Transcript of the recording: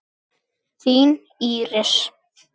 Þín Íris.